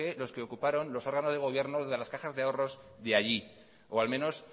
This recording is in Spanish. los que ocuparon los órganos de gobierno de las cajas de ahorros de allí o al menos